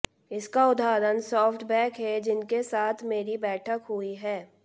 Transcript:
इसका उदाहरण सॉफ्टबैंक है जिनके साथ मेरी बैठक हुई है